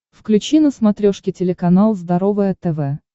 включи на смотрешке телеканал здоровое тв